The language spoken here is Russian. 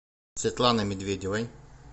светланы медведевой